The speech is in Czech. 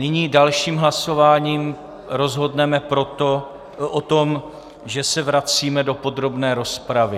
Nyní dalším hlasováním rozhodneme o tom, že se vracíme do podrobné rozpravy.